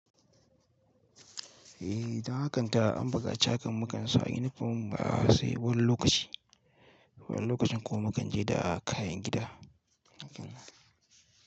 Eh, ta hakanta an buƙaci hakan makansa, yunifom ba sai wani lokaci, wani lokacin kuma mukanje da kayan gida.